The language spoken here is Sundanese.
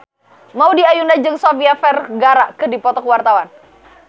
Maudy Ayunda jeung Sofia Vergara keur dipoto ku wartawan